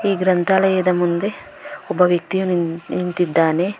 ಈ ಗ್ರಂಥಾಲಯದ ಮುಂದೆ ಒಬ್ಬ ವ್ಯಕ್ತಿಯು ನಿನ್ ನಿಂತಿದ್ದಾನೆ.